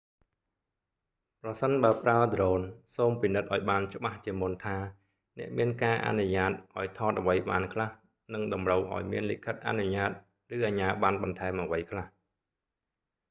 ប្រសិនបើប្រើដ្រូន សូមពិនិត្យឱ្យបានច្បាស់ជាមុនថា អ្នកមានការអនុញ្ញាតឱ្យថតអ្វីបានខ្លះ និងតម្រូវឱ្យមានលិខិតអនុញ្ញាត ឬអជ្ញាបណ្ណបន្ថែមអ្វីខ្លះ